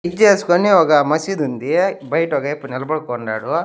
ఏస్కోని ఒక మసీదుంది బయట ఒగాయప్పా నిలబడుకోండాడు.